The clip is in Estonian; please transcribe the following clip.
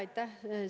Aitäh!